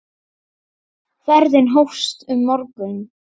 Ferðin hófst um morgun.